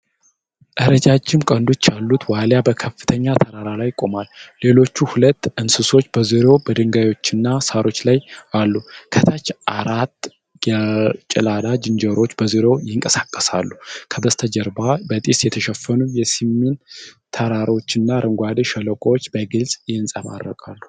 ረጃጅም ቀንዶች ያሉት ዋልያ በከፍተኛ ተራራ ላይ ቆሟል። ሌሎች ሁለት እንስሶች በዙሪያው በድንጋዮችና ሳሮች ላይ አሉ። ከታች አራት ጌላዳ ዝንጀሮዎች በዙሪያው ይንቀሳቀሳሉ። ከበስተጀርባ በጢስ የተሸፈኑ የሲሚን ተራራማዎችና አረንጓዴ ሸለቆዎች በግልጽ ይንጸባረቃሉ።